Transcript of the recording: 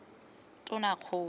tonakgolo